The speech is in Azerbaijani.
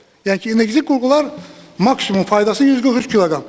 Yəni ki, energetik qurğular maksimum faydası 143 kq.